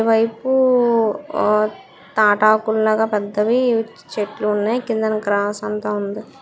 ఈ వైపు ఆ తాటాకు లాగా పెద్దవి చెట్లున్నాయి. కిందన గ్రాస్ అంతా ఉంది.